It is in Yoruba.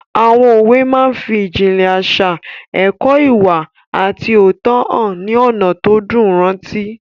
Àwọn òwe máa n fi ìjìnlẹ̀ àṣà, ẹ̀kọ́ ìwà àti òótọ́hàn ní ọ̀nà tó dùn rántí